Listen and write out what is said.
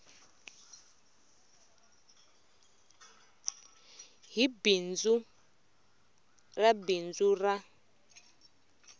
hi bindzu ra bindzu ra